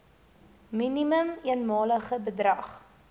minimum eenmalige bedrag